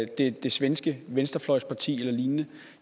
det svenske venstrefløjsparti eller lignende